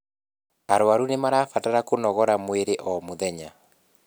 arwaru nimarabatara kũnogora mwĩrĩ o mũthenya